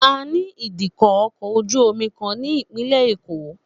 A ní ìdíkọ̀ ọkọ̀ ojú-omi kan ní Ìpínlẹ̀ Èkó